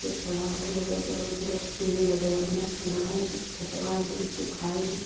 खड़ा होके अगल-बगल पूरा पेड़ ह बड़ा-बड़ा पेड़वा ह एकदम खेतवा एकदम सुखाईल सूखा--